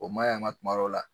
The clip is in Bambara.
O man ɲi a ma tuma dɔw la.